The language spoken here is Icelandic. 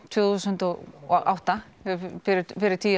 tvö þúsund og átta fyrir tíu